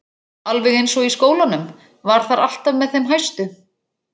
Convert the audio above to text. Alveg eins og í skólanum, var þar alltaf með þeim hæstu.